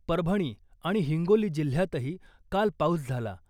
परभणी आणि हिंगोली जिल्ह्यातही काल पाऊस झाला .